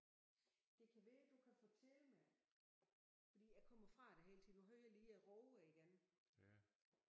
Det kan være du kan fortælle mig fordi jeg kommer fra det hele tiden nu hører jeg lige rågerne igen